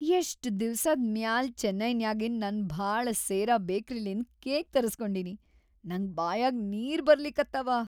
ಎಷ್ಟ್‌ ದಿವ್ಸಾದ್‌ ಮ್ಯಾಲ್‌ ಚೆನ್ನೈನ್ಯಾಗಿನ್‌ ನನ್‌ ಭಾಳ ಸೇರ ಬೇಕರಿಲಿಂದ್‌ ಕೇಕ್‌ ತರಸ್ಗೊಂಡಿನಿ‌, ನಂಗ್ ಬಾಯಾಗ್‌ ನೀರ್‌ ಬರ್ಲಿಕತ್ತಾವ.